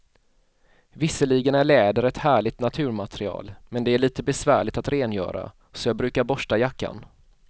Visserligen är läder ett härligt naturmaterial, men det är lite besvärligt att rengöra, så jag brukar borsta jackan.